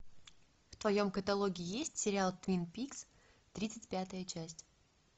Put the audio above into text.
в твоем каталоге есть сериал твин пикс тридцать пятая часть